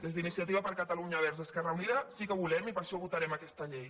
des d’iniciativa per catalunya verds esquerra unida sí que ho volem i per això votarem aquesta llei